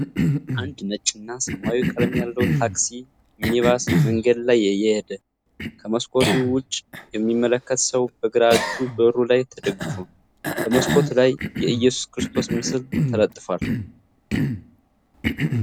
አንድ ነጭ እና ሰማያዊ ቀለም ያለው ታክሲ (ሚኒባስ) መንገድ ላይ እየሄደ። ከመስኮቱ ወደ ውጭ የሚመለከት ሰው በግራ እጁ በሩ ላይ ተደግፎ ። በመስኮቱ ላይ የኢየሱስ ክርስቶስ ምስል ተለጥፏል።